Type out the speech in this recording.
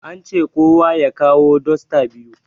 An ce kowa ya kawo dosta biyu